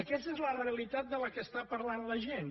aquesta és la realitat de què està parlant la gent